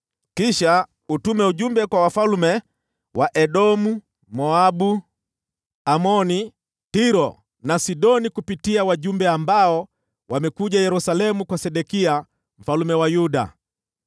Kisha utume ujumbe kwa wafalme wa Edomu, Moabu, Amoni, Tiro na Sidoni kupitia wajumbe ambao wamekuja Yerusalemu kwa Sedekia mfalme wa Yuda.